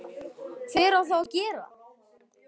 hver á þá að gera það?